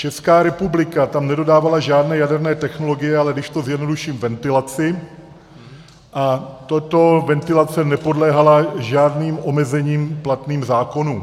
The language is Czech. Česká republika tam nedodávala žádné jaderné technologie, ale když to zjednoduším, ventilaci, a tato ventilace nepodléhala žádným omezením platným zákonům.